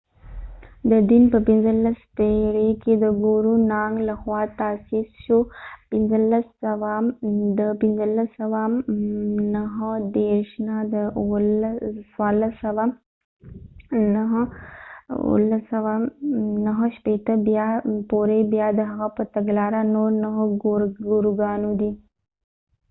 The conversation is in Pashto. دا دين په 15 پیړی کې د ګورو نانګ له خوا تاسیس شو 1469-1539. بیا د هغه په تګلاره نور نهه ګوروګانو دي